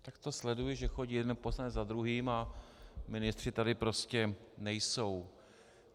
Tak to sleduji, že chodí jeden poslanec za druhým a ministři tady prostě nejsou.